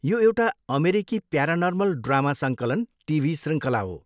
यो एउटा अमेरिकी प्यारानर्मल ड्रामा सङ्कलन टिभी श्रृङ्खला हो।